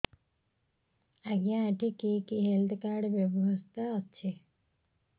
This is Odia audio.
ଆଜ୍ଞା ଏଠି କି କି ହେଲ୍ଥ କାର୍ଡ ବ୍ୟବସ୍ଥା ଅଛି